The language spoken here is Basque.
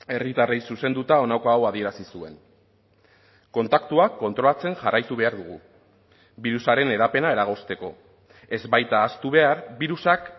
herritarrei zuzenduta honako hau adierazi zuen kontaktuak kontrolatzen jarraitu behar dugu birusaren hedapena eragozteko ez baita ahaztu behar birusak